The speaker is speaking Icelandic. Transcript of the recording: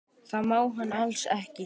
Það má hann alls ekki.